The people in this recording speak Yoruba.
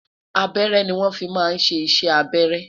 abẹrẹ ni won fí má sé iṣẹ abẹrẹ